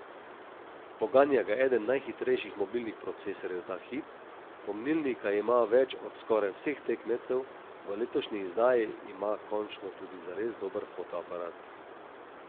Poganja ga eden najhitrejših mobilnih procesorjev ta hip, pomnilnika ima več od skoraj vseh tekmecev, v letošnji izdaji ima končno tudi zares dober fotoaparat.